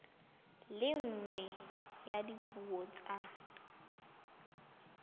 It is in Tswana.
le nngwe ya dipuo tsa